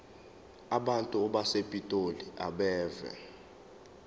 abantu basepitoli abeve